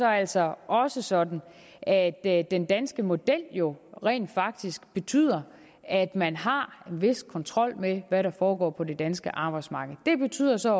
altså også sådan at at den danske model jo rent faktisk betyder at man har en vis kontrol med hvad der foregår på det danske arbejdsmarked det betyder så